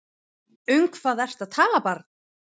Um hvað ertu að tala barn?